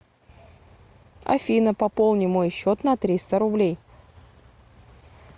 афина пополни мой счет на триста рублей